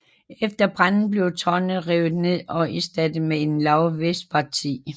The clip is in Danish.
Efter branden blev tårnet revet ned og erstattet med et lavt vestparti